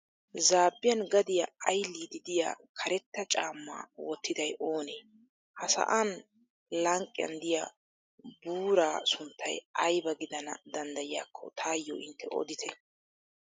Zaabbiyan gadiyaa ayilliiddi diya karetta caamma wottiday oonee? Ha sa'an lanqqiyan diya buuraa sunttaykka ayba gidana danddayiyaakko taayo intte oditte.